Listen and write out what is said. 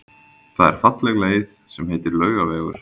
Það er falleg leið sem heitir Laugavegur.